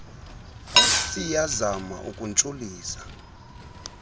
osts iyazama ukuntshulisa